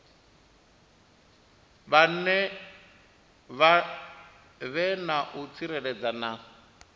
vhe na u tsireledzea na